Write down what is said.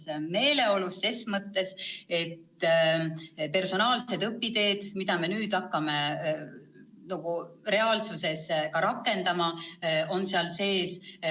Seda selles mõttes, et personaalsed õpiteed, mida me nüüd hakkame reaalsuses rakendama, on seal sees.